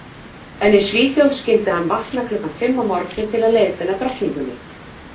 En í Svíþjóð skyldi hann vakna klukkan fimm að morgni til að leiðbeina drottningunni.